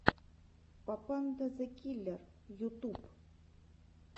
папанда зэ киллер ютуб